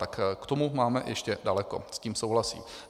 Tak k tomu máme ještě daleko, s tím souhlasím.